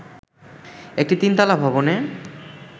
একটি তিনতলা ভবনে